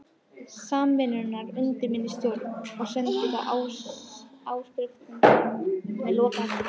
Samvinnunnar undir minni stjórn og sendi það áskrifendum með lokaheftinu.